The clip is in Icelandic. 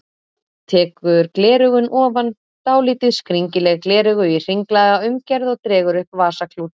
Tekur gleraugun ofan, dálítið skringileg gleraugu í hringlaga umgerð og dregur upp vasaklút.